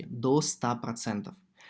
до ста процентов